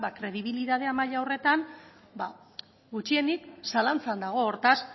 kredibilitate maila horretan gutxienik zalantzan dago hortaz